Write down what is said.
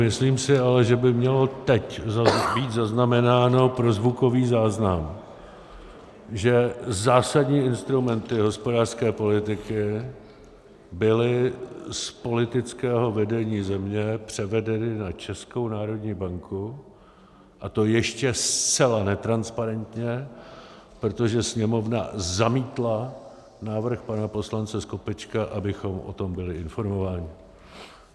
Myslím si ale, že by mělo teď být zaznamenáno pro zvukový záznam, že zásadní instrumenty hospodářské politiky byly z politického vedení země převedeny na Českou národní banku, a to ještě zcela netransparentně, protože Sněmovna zamítla návrh pana poslance Skopečka, abychom o tom byli informováni.